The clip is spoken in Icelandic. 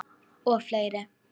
Og fleiri.